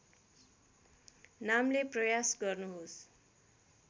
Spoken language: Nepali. नामले प्रयास गर्नुहोस्